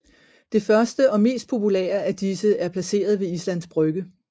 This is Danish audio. Det første og mest populære af disse er placeret ved Islands Brygge